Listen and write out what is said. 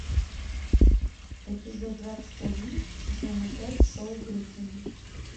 эпизод двадцать один сезона пять шоу гриффины